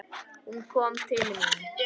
Hún kom til mín.